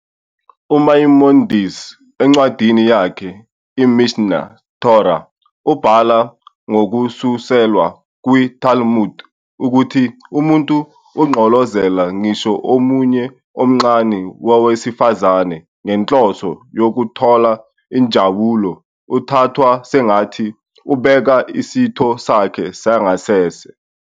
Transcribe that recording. UMaimonides, encwadini yakhe iMishneh Torah, ubhala, ngokususelwa kwiTalmud, ukuthi "Umuntu ogqolozela ngisho umunwe omncane wowesifazane ngenhloso yokuthola injabulo uthathwa sengathi ubheka isitho sakhe sangasese.